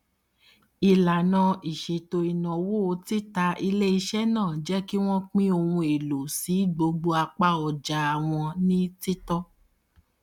ìlànà ìṣètò ináwó tita iléiṣẹ náà jẹ kí wọn pín ohun èlò sí gbogbo apá ọja wọn ní títọ